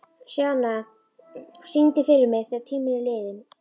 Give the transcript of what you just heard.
Sjana, syngdu fyrir mig „Þegar tíminn er liðinn“.